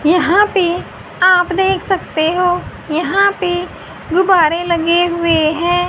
यहां पर आप देख सकते हो यहां पर गुब्बारे लगे हुए हैं।